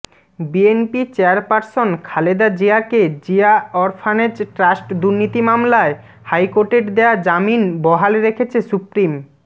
BNP chairperson Khaleda জিয়াকে Zia orphanage trust দুর্নীতি মামলায় হাইকোর্টের দেয়া জামিন বহাল রেখেছে সুপ্রিম